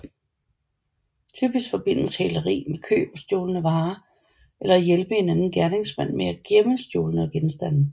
Typisk forbindes hæleri med køb af stjålne varer eller hjælpe en anden gerningsmand med at gemme stjålne genstande